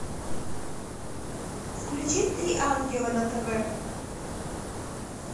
включи три ангела на тв